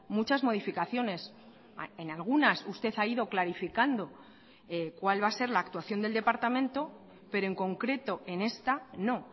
muchas modificaciones en algunas usted ha ido clarificando cual va a ser la actuación del departamento pero en concreto en esta no